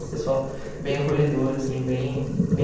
Um pessoal bem acolhedor, assim, bem bem